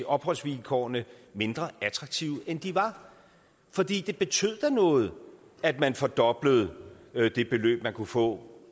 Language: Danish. opholdsvilkårene mindre attraktive end de var fordi det betød da noget at man fordoblede det beløb man kunne få